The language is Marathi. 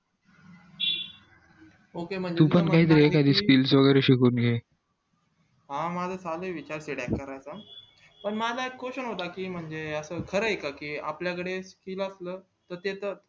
तू पण पण एखादे skills वैगेरे शिकवतील हा माझा चालू ये विचार हे करायचा मला एक question होता म्हणजे खरंय का कि आपल्या कडे skill असलं त त्याच